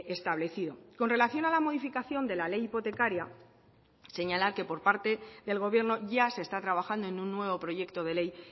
establecido con relación a la modificación de la ley hipotecaria señalar que por parte del gobierno ya se está trabajando en un nuevo proyecto de ley